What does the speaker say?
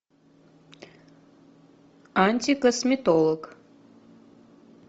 антикосметолог